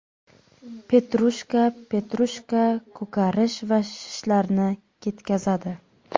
Petrushka Petrushka ko‘karish va shishlarni ketkazadi.